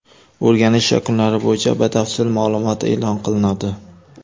O‘rganish yakunlari bo‘yicha batafsil ma’lumot e’lon qilinadi.